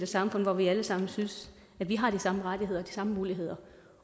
samfund hvor vi alle sammen synes vi har de samme rettigheder og de samme muligheder